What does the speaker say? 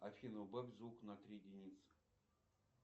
афина убавь звук на три единицы